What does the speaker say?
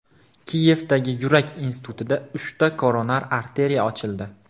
Kiyevdagi yurak institutida uchta koronar arteriya ochildi.